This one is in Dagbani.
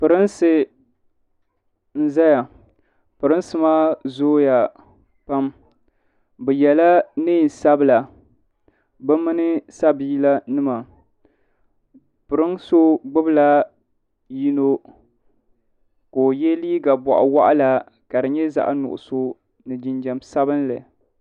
Pirinsi n-zaya Pirinsi maa zooya pam bɛ yela neen'sabila bɛ mini sabiilanima pirin so gbubila so ka o ye liiga bɔɣuwaɣila ka di nyɛ zaɣ'nuɣuso ni jinjam sabinli.